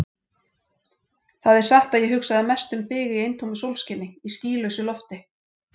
Það er satt að ég hugsaði mest um þig í eintómu sólskini, í skýlausu lofti.